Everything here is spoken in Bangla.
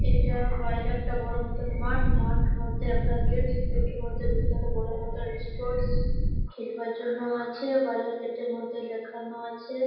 এটা বাইরে একটা বড় মতোন মাঠ। মাঠ মধ্যে একটা গেট । গেট মধ্যে ভিতরে বড়ো মতো স্পোর্টস খেলবার জন্য আছে। বাইরের গেটের মধ্যে লেখানো আছে ।